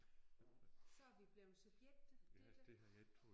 Så er vi blevet subjekter Ditlev